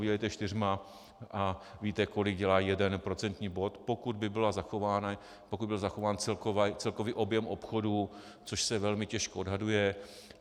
Vydělte čtyřmi a víte, kolik dělá jeden procentní bod, pokud by byl zachován celkový objem obchodů, což se velmi těžko odhaduje.